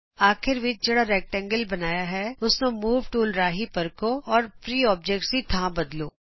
ਅਖੀਰ ਵਿਚ ਜਿਹੜਾ ਆਯਤ ਬਣਾਇਆਂ ਹੈ ਉਸਨੂੰ ਮੂਵ ਟੂਲ ਰਾਹੀਂ ਪਰਖੋ ਅਤੇ ਫਰੀ ਔਬਜੈਕਟਜ਼ ਦੀ ਥਾਂ ਬਦਲੋ